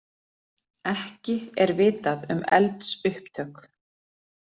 Ekki er vitað um eldsupptök